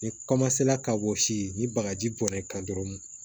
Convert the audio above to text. Ni ka gosi ni bagaji bɔn'i kan dɔrɔn